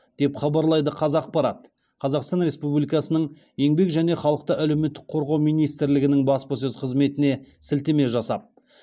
деп хабарлайды қазақпарат қазақстан республикасының еңбек және халықты әлеуметтік қорғау министрлігінің баспасөз қызметіне сілтеме жасап